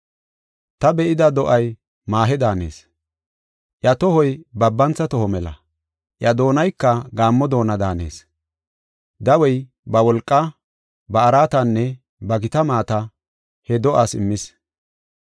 Ta be7ida do7ay maahe daanees; iya tohoy babantha toho mela; iya doonayka gaammo doona daanees. Dawey ba wolqaa, ba araatanne ba gita maata he do7aas immis.